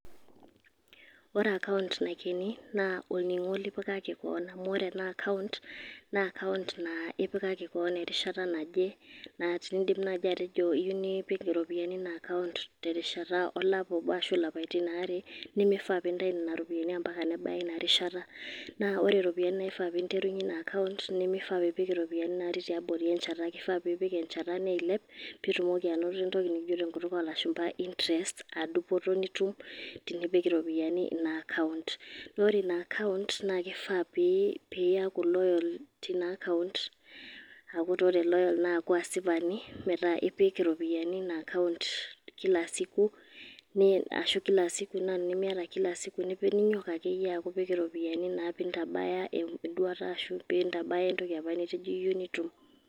Ore account naikeni, na olning'o lipikaki keon. Amu ore ena account ,na account na ipikaki keon erishata naje, naidim naji atejo ipik iropiyiani ina account terishata olapa obo arashu ilapaitin aare, nimifaa pe intau nena ropiyaiani ampaka nebaya inarishata. Na ore iropiyiani naifaa ninterunye ina account ,nimifaa piipik iropiyiani natii tiabori enchata. Kifaa piipik enchata neilep, pitumoki anoto entoki nikijo tenkutuk olashumpa interest ,ah dupoto nitum tenipik iropiyiani ina account. Na ore ina account ,na kifaa pe iyaku loyal tina account ,aaku ta ore loyal na aaku asipani, meeta ipik iropiyiani ina account, kila siku ,na tenimiata kila siku nipik ninyok akeyie apik iropiyiani na pintabaya eduata ashu pintabaya entoki apa nitejo iyeu nitum.